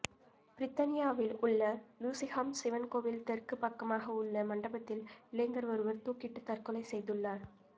பிரித்தனியாவில் உள்ள லூசிஹாம் சிவன் கோவில் தெற்கு பக்கமாக உள்ள மண்டபத்தில் இளைஞர் ஒருவர் துாக்கிட்டுத் தற்கொலை செய்துள்ளார்